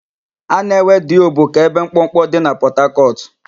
A na-ewe Diobu ka ebe mkpọkpọ dị na Pọtakọtụ